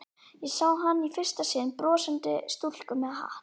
Ég sá hana í fyrsta sinn, brosandi stúlku með hatt.